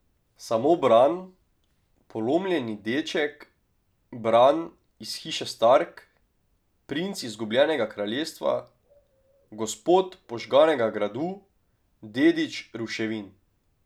Samo Bran, polomljeni deček, Bran iz hiše Stark, princ izgubljenega kraljestva, gospod požganega gradu, dedič ruševin.